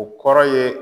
O kɔrɔ ye